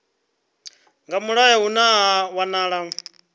nga mulayo hune ha wanala